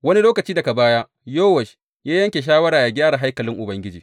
Wani lokaci daga baya Yowash ya yanke shawara yă gyara haikalin Ubangiji.